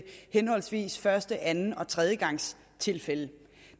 henholdsvis første anden og tredjegangstilfælde